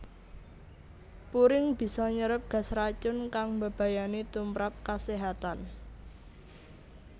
Puring bisa nyerep gas racun kang mbebayani tumprap kaséhatan